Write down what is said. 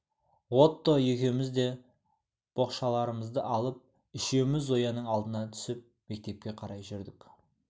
отто екеуміз де боқшаларымызды алып үшеуміз зояның алдына түсіп мектепке қарай жүрдік